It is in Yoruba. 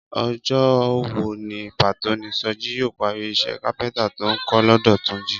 Ọjọ́ wo ní pàtó ni Sọjí yóò parí iṣẹ́ kápẹ́ntà tó ń kọ́ lọ́dọ̀ Túnjí?